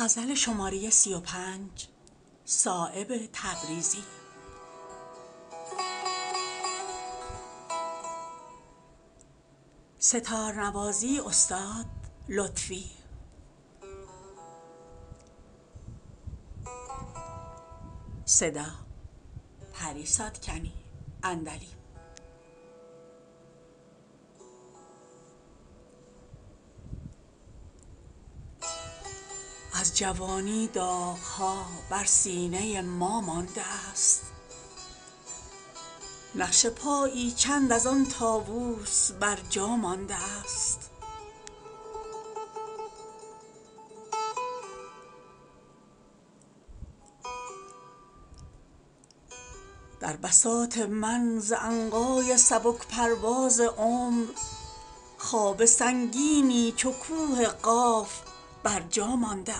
از جوانی داغ ها بر سینه ما مانده است نقش پایی چند از آن طاوس بر جا مانده است در بساط من ز عنقای سبک پرواز عمر خواب سنگینی چو کوه قاف بر جا مانده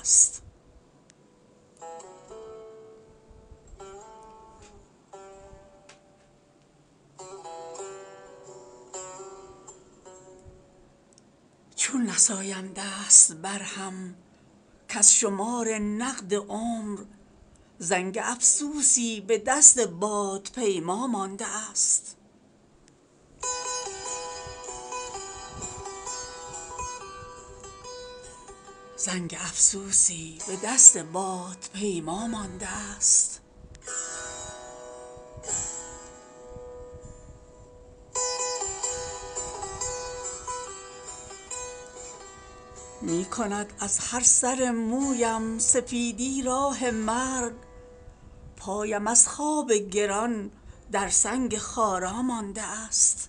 است نیست از چشم و دل بینا مرا جز درد و داغ ظلمت از خورشید و خفاش از مسیحا مانده است می کند از هر سو مویم سفیدی راه مرگ پایم از خواب گران در سنگ خارا مانده است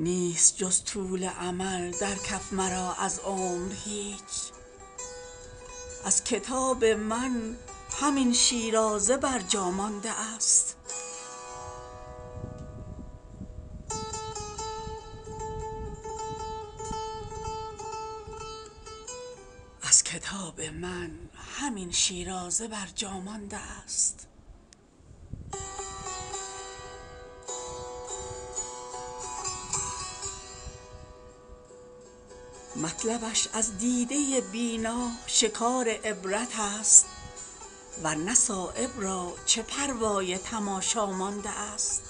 چون نسایم دست بر هم کز شمار نقد عمر زنگ افسوسی به دست باد پیما مانده است نیست در دستم به جز افسوس از عمر دراز سوزنی از رشته مریم به عیسی مانده است نوبت پرواز از بالم به چشم افتاده است طوطیم چون سبزه عاجز در ته پا مانده است نیست جز طول امل در کف مرا از عمر هیچ از کتاب من همین شیرازه بر جا مانده است مشت خاشاکی است بر جا مانده از سیلاب عمر در دل من خار خاری کز تمنا مانده است مطلبش از دیده بینا شکار عبرت است ورنه صایب را چه پروای تماشا مانده است